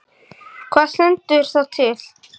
Birta: Og hvað stendur þá til?